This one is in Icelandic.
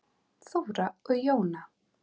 Þóra og Jóna.